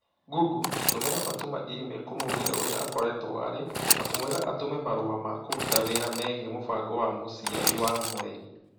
Google tũmĩra fatuma i-mīrū kũmũũria ũrĩa akoretũo ariĩ na kũmwĩra atũmane marũa ma kũruta wĩra megiĩ mũbango wa mũciari wa mũreri